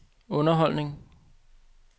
underholdning